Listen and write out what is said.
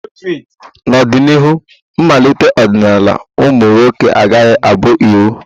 N'ọdịnihu, mmalite ọdịnala ụmụ nwoke agaghị abụ iwu.